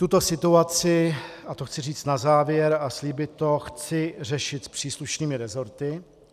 Tuto situaci - a to chci říct na závěr a slíbit to - chci řešit s příslušnými resorty.